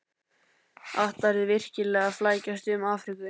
Ætlarðu virkilega að flækjast um Afríku?